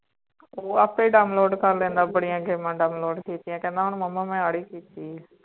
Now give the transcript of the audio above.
ਵੌ ਆਪੇ download ਕਰ ਲੈਂਦਾ ਬੜੀਆਂ game download ਕੀਤੀਆਂ ਕਹਿੰਦਾ ਹੁਣ ਮੁਮਾ ਆ ਵਾਲੀ ਕੀਤੀ